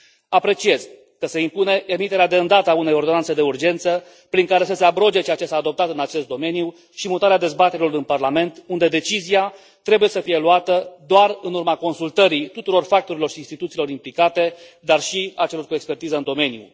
Apreciez că se impune emiterea de îndată a unei ordonanțe de urgență prin care să se abroge ceea ce s a adoptat în acest domeniu și mutarea dezbaterilor în parlament, unde decizia trebuie să fie luată doar în urma consultării tuturor factorilor și instituțiilor implicate, dar și a celor cu expertiză în domeniu.